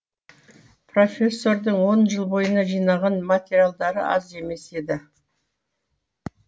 профессордың он жыл бойына жинаған материалдары аз емес еді